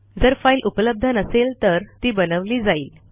जर फाईल उपलब्ध नसेल तर ती बनवली जाईल